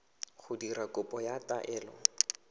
go dira kopo ya taelo